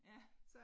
Ja